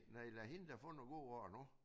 Nej lad hende da få nogle gode år nu